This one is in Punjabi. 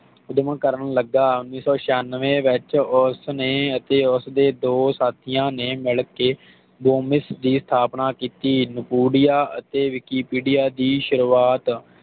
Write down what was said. ਊਧਮ ਕਰਨ ਲਗਾ ਉਨੀ ਸੌ ਛਿਆਨਵੇਂ ਵਿਚ ਉਸਨੇ ਅਤੇ ਉਸਦੇ ਦੋ ਸਾਥੀਆਂ ਨੇ ਮਿਲਕੇ ਡੋਮਿਸ ਦੀ ਸਥਾਪਨਾ ਕੀਤੀ ਨੁਪੋਡਿਯਾ ਅਤੇ ਵਿਕੀਪੀਡੀਆ ਦੀ ਸ਼ੁਰੂਵਾਤ